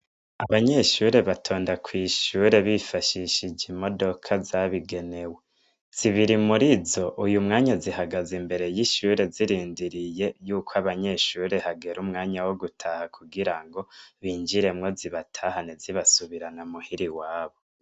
Abanyeshure batonda kw'ishure bifashishije imodoka zabigenewe. Zibiri muri zo uyu mwanya zihagaze imbere y'ishure zirindiriye yuko abanyeshure hagera umwanya wo gutaha kugira ngo binjiremwo zibatahane zibasubirana muhira iwabo.